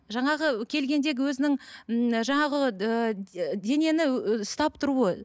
жаңағы келгендегі өзінің ыыы жаңағы ыыы денені ұстап тұруы